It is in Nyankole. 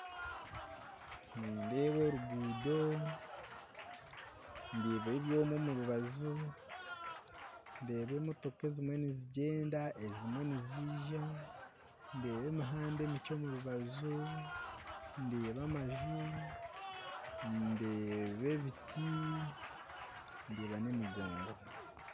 Nindeeba oruguudo, ndeeba ebyoma omu rubaju ndeeba emotoka ezimwe nizigyenda, ezimwe niziija, ndeeba emihanda emikye omu rubaju, ndeeba amaju ndeeba ebiti ndeeba n'emigongo.